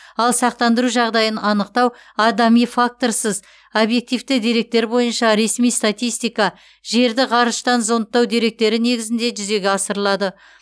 ал сақтандыру жағдайын анықтау адами факторсыз объективті деректер бойынша ресми статистика жерді ғарыштан зондтау деректері негізінде жүзеге асырылады